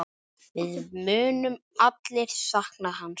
Við munum allir sakna hans.